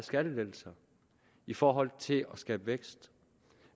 skattelettelser i forhold til at skabe vækst